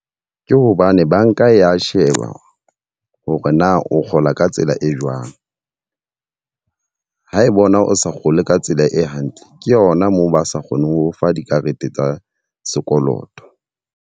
Ke hobane banka ya sheba hore na o kgola ka tsela e jwang. Ha e bona o sa kgole ka tsela e hantle, ke yona moo ba sa kgone ho fa dikarete tsa sekoloto.